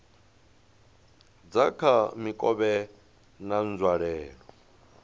dza kha mikovhe na nzwalelo